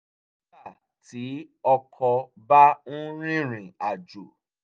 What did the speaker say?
nígbà tí ọkọ bá ń rìnrìn àjò